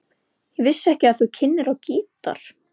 Ég vissi ekki að þú kynnir á gítar.